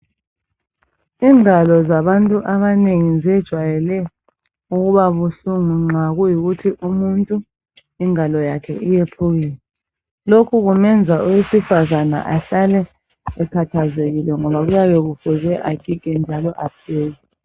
ingalo zabantu abanengi zejwayele ukuba buhlungu nxa kuyikuthi umuntu ingalo yakhe iyephukile lokhu kumenza owesifazane ahlale ekhathezekile ngoba kuyabe kufuze agige njalo apheke